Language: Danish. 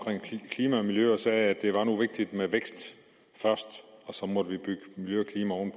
klima og miljø og sagde at det nu var vigtigt med vækst først og så må vi bygge miljø